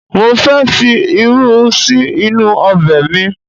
Mo ń fẹ fi irú sí inú ọbẹ̀ mi